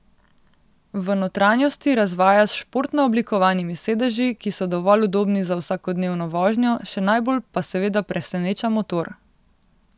V notranjosti razvaja s športno oblikovanimi sedeži, ki so dovolj udobni za vsakodnevno vožnjo, še najbolj pa seveda preseneča motor.